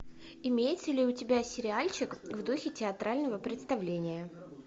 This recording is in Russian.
имеется ли у тебя сериальчик в духе театрального представления